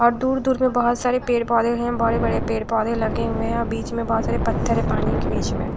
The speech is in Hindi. और दूर दूर मे बहोत सारे पेड़ पौधे हैं। बड़े बड़े पेड़ पौधे लगे हुए है। बीच मे बहोत सारे पत्थर है पानी के बीच मे।